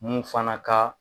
Mun fana ka